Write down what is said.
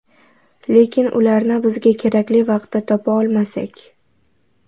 Lekin ularni bizga kerakli vaqtda topa olmasak?